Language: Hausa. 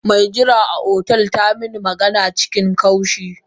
Me jira a otel tamin magana cikin kaushi.